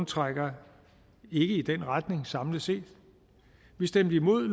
trækker i den retning samlet set vi stemte imod